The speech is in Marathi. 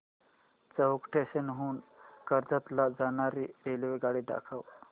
चौक स्टेशन हून कर्जत ला जाणारी रेल्वेगाडी दाखव